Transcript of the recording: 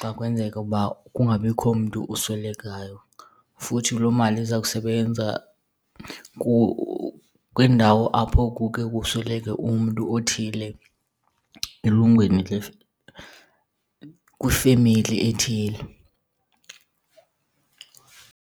xa kwenzeka ukuba kungabikho mntu uswelekayo. Futhi loo mali iza kusebenza kwiindawo apho kuke kusweleke umntu othile elungwini , kwifemeli ethile.